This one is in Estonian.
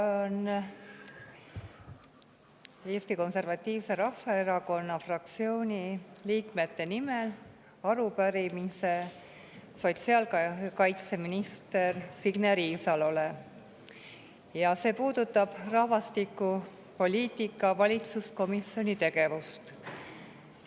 Esitan Eesti Konservatiivse Rahvaerakonna fraktsiooni liikmete nimel arupärimise sotsiaalkaitseminister Signe Riisalole ja see puudutab rahvastikupoliitika valitsuskomisjoni tegevust.